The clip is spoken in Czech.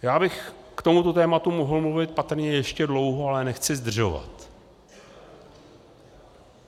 Já bych k tomuto tématu mohl mluvit patrně ještě dlouho, ale nechci zdržovat.